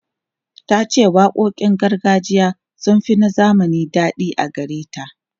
Ta ce waƙoƙin gargajiya sun fi na zamani daɗi a gare ta.